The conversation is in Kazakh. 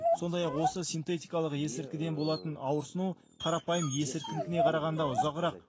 сондай ақ осы синтетикалық есірткіден болатын ауырсыну қарапайым есірткінікіне қарағанда ұзағырақ